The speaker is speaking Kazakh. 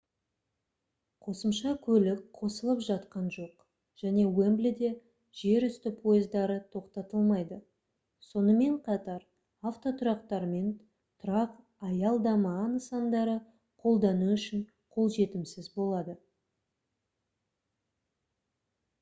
қосымша көлік қосылып жатқан жоқ және уэмблиде жерүсті пойыздары тоқтатылмайды сонымен қатар автотұрақтар мен тұрақ-аялдама нысандары қолдану үшін қолжетімсіз болады